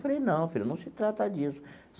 Falei, não, filha, não se trata disso.